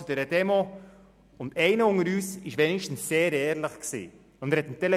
Es kann doch nicht in unserem Interesse sein, nur noch 600 Franken zu bezahlen!